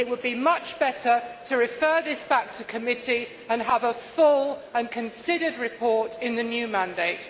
It would be much better to refer this back to committee and have a full and considered report in the new mandate.